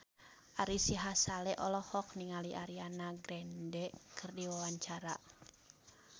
Ari Sihasale olohok ningali Ariana Grande keur diwawancara